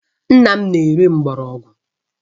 Nna m na-ere ahịhịa mgbọrọgwụ